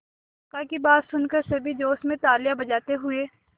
काका की बात सुनकर सभी जोश में तालियां बजाते हुए